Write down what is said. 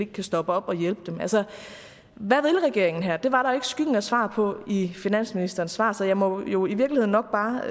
kan stoppe op og hjælpe dem hvad vil regeringen her det var der ikke skyggen af svar på i finansministeren svar så jeg må jo i virkeligheden nok bare